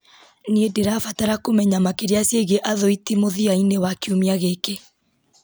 nĩ ndĩrabatara kũmenya makĩria ciĩgiĩ athũithi mũthia-inĩ wa kiumia gĩkĩ